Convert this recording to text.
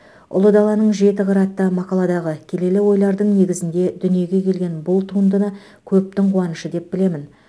ұлы даланың жеті қыры атты мақаладағы келелі ойлардың негізінде дүниеге келген бұл туындыны көптің қуанышы деп білемін